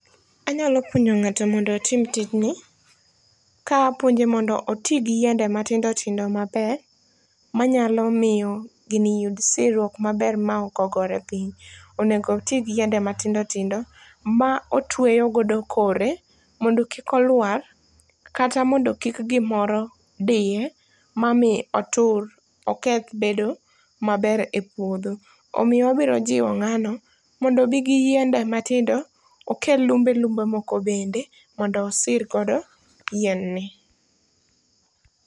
Anyalo puonjo ng'ato mondo otim tijn,i kaapuonje modo otii gi yiende matindo tindo maber, manyalo mio gini yud sirruok maber maoko gore piny. Onego otii gi yiende matindo tindo maotweyo godo kore mondo kik oluar kata mondo kik gimoro diye, mamii otur oketh bedo maber e puodho. Omio obiro jiwo ng'ano mondo obii gi yiende matindo okel lumbe lumbe moko bende mondo osir godo yien ni.